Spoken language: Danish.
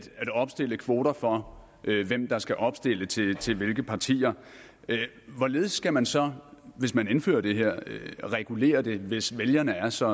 opstille kvoter for hvem der skal opstille til til hvilke partier hvorledes skal man så hvis man indfører det her regulere det hvis vælgerne er så